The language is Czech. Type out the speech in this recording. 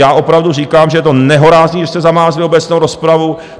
Já opravdu říkám, že je to nehorázné, že jste zamázli obecnou rozpravu.